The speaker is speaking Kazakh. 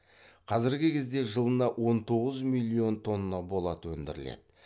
қазіргі кезде жылына он тоғыз миллион тонна болат өндіріледі